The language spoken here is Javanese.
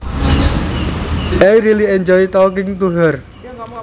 I really enjoy talking to her